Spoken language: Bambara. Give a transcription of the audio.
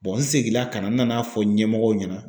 n seginna ka na n nan'a fɔ ɲɛmɔgɔw ɲɛna